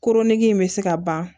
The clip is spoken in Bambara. Koronnen in bɛ se ka ban